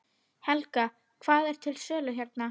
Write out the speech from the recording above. Helga: Hvað er til sölu hérna?